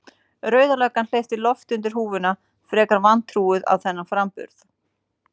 Rauða löggan hleypir lofti undir húfuna, frekar vantrúuð á þennan framburð.